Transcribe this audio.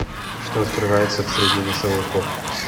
что открывается в средний носовой ход